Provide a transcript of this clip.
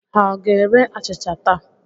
Ha ọ ga-ere achịcha taa?